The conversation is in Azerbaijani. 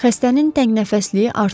Xəstənin təngnəfəssliyi artırdı.